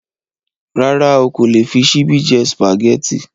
Rárá o kò lè fi ṣíbí jẹ́ Sùpàgẹ́tì